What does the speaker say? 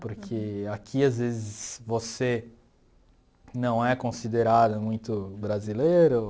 Porque aqui, às vezes, você não é considerado muito brasileiro.